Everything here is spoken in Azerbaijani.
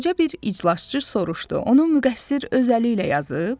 Balaca bir iclasçı soruşdu: onun müqəssir öz əli ilə yazıb?